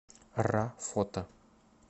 ра фото